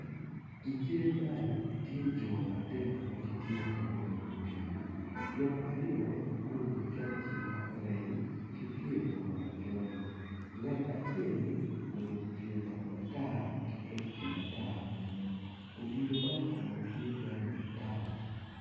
I cal man tye jo adek ma gitye ka ngweyo odilo jo aryo guruku cokci ma oreny ki pyer bongo macol ngat acel oruku kor bongo matar ki cokci matar bene odilo man kon tye rangi matar